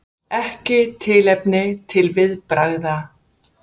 Ekki tilefni til viðbragða